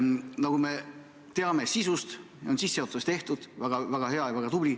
Nagu me sisu kohta teame – sissejuhatus on tehtud –, see on väga hea ja väga tubli.